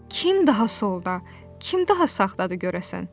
Kim daha solda, kim daha sağdadır görəsən?